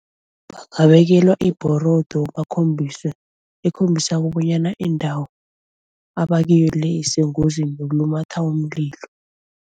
Bangabekelwa ibhorodo bakhombise ekhombisako bonyana indawo abakiyo le isengozini yokulumatha umlilo.